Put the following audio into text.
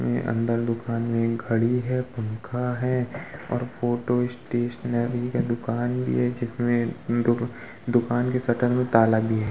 ये अंदर दुकान में एक घड़ी हैपंखा है और फोटो स्टेशनरी की दुकान भी है जिसमे दुकान के शटर में ताला भी है।